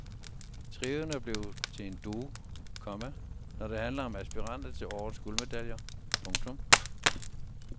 Trioen er blevet til en duo, komma når det handler om aspiranter til årets guldmedaljer. punktum